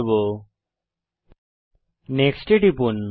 Hindi Dubb file next বাটনে টিপুন